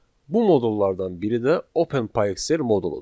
Bu modullardan biri də OpenPyXL moduludur.